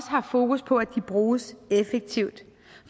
haft fokus på at de bruges effektivt